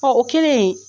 Ɔ o kɛlen